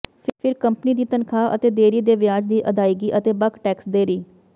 ਫਿਰ ਕੰਪਨੀ ਦੀ ਤਨਖਾਹ ਅਤੇ ਦੇਰੀ ਦੇ ਵਿਆਜ ਦੀ ਅਦਾਇਗੀ ਅਤੇ ਬਕ ਟੈਕਸ ਦੇਰੀ